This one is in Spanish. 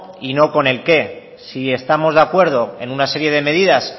y no con el qué si estamos de acuerdo en una serie de medidas